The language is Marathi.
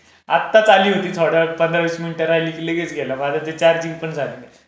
लाईट गेली म्हणून तू आलास तरी. आताच आली होती थोडा वेळ पंधरा-वीस मिनिटांनी लगेच गेली माझं ते चार्जिंग पण झालं नाही.